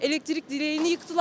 Elektrik direğini yıxtılar.